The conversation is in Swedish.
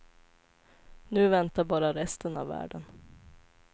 Nu väntar bara resten av världen.